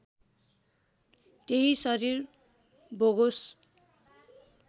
त्यही शरीर भोगोस